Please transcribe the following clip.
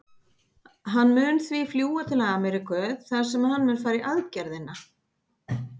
Hann mun því fljúga til Ameríku þar sem hann mun fara í aðgerðina.